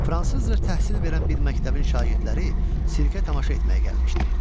Fransızca təhsil verən bir məktəbin şagirdləri sirkə tamaşa etməyə gəlmişdi.